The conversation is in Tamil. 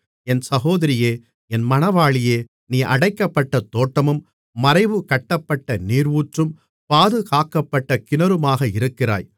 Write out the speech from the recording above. என் சகோதரியே என் மணவாளியே நீ அடைக்கப்பட்ட தோட்டமும் மறைவு கட்டப்பட்ட நீரூற்றும் பாதுகாக்கப்பட்ட கிணறுமாக இருக்கிறாய்